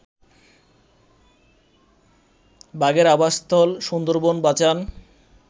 বাঘের আবাসস্থল সুন্দরবন বাঁচান